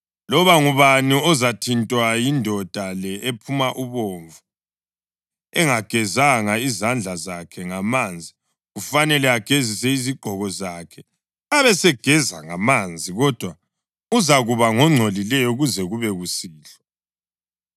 Loba ngubani ozathintwa yindoda le ephuma ubovu engagezanga izandla zakhe ngamanzi kufanele agezise izigqoko zakhe abesegeza ngamanzi, kodwa uzakuba ngongcolileyo kuze kube kusihlwa.